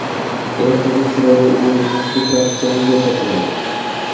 Ertaga chiroyli o‘yin emas, ko‘proq jang bo‘lsa kerak.